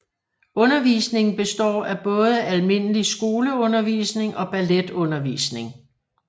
Undervisningen består af både almindelig skoleundervisning og balletundervisning